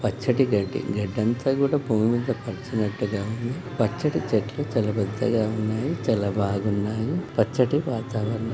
పచ్చటి గడ్డి గడ్డంతా కూడా భూమిమీద పరిచినట్టుగా ఉంది. పచ్చటి చెట్లు చాలా పెద్దగా ఉన్నాయి. చాలా బాగున్నాయి పచ్చటి వాతావరణము--